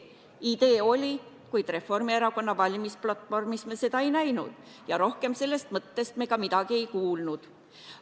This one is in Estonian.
Idee oli, kuid Reformierakonna valimisplatvormis me seda ei näinud ja rohkem sellest mõttest ka midagi ei kuulnud.